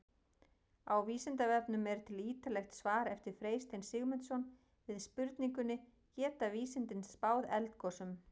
Á Vísindavefnum er til ýtarlegt svar eftir Freystein Sigmundsson við spurningunni Geta vísindin spáð eldgosum?